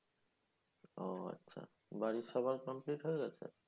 ও আচ্ছা বাড়ির সবার complete হয়ে গেছে?